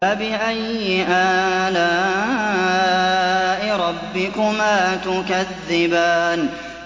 فَبِأَيِّ آلَاءِ رَبِّكُمَا تُكَذِّبَانِ